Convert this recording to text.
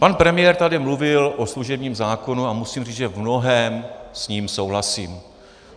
Pan premiér tady mluvil o služebním zákonu a musím říct, že v mnohém s ním souhlasím.